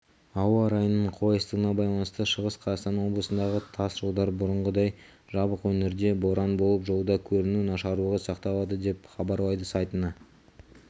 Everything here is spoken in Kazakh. ауа райының қолайсыздығына байланысты шығыс қазақстан облысындағы тас жолдар бұрынғыдай жабық өңірде боран болып жолда көріну нашарлығы сақталады деп хабарлайды сайтына